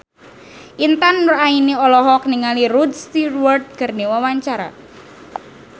Intan Nuraini olohok ningali Rod Stewart keur diwawancara